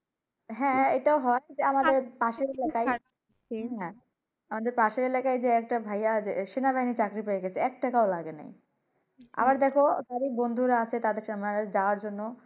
হ্যাঁ এইটা ও হয়। আমাদের পাশের এলাকায় same আমাদের পাশের এলাকায় একটা ভাইয়া সেনাবাহীর চাকুরি পাইয়া গেছে একটাকা ও লাগেনি আবার দেখো তারই অনেক বন্ধুরা আছে সেনাবাহীতে যাওয়ার জন্য